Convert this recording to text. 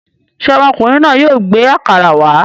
Ṣé ọmọkùnrin náà yóò gbé àkàrà wá?